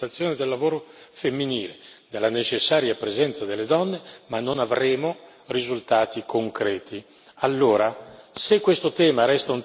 Diversamente continueremo a parlare della valorizzazione del lavoro femminile, della necessaria presenza delle donne, ma non avremo risultati concreti.